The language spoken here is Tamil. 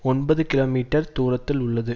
ஒன்பது கிலோ மீட்டர் தூரத்தில் உள்ளது